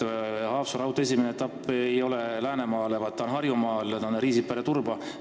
Haapsalu raudtee esimene etapp ei asu Läänemaal, vaid Harjumaal, see on Riisipere–Turba lõik.